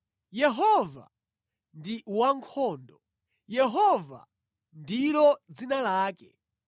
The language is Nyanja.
Yehova ndi wankhondo; Yehova ndilo dzina lake.